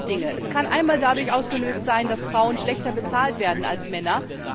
Sie kann einmal dadurch ausgelöst werden, dass Frauen schlechter bezahlt werden als Männer.